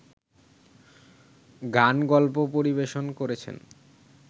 গানগল্প পরিবেশন করেছেন